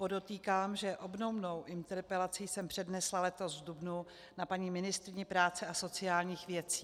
Podotýkám, že obdobnou interpelaci jsem přednesla letos v dubnu na paní ministryni práce a sociálních věcí.